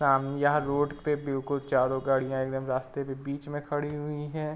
सामने यहाँ रोड पे बिलकुल चारो गाडिया एकदम रास्ते पे बीच में खड़ी हुई है।